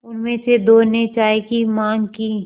उनमें से दो ने चाय की माँग की